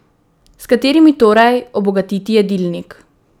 S katerimi torej obogatiti jedilnik?